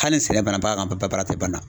Hali sɛnɛ banna bagan ka baara tɛ ban